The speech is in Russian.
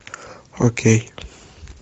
окей